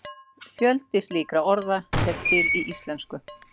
fjöldi slíkra orða er til í íslensku